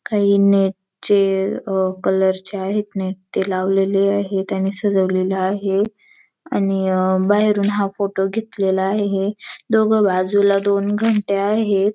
काही नेट चे अहं कलर चे आहेत नेट ते लावलेले आहे आणि सजवलेले आहे आणि अहं बाहेरून हा फोटो घेतलेला आहे दोघं बाजूला दोन घंट्या आहेत.